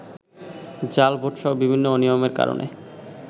জাল ভোটসহ বিভিন্ন অনিয়মের কারণে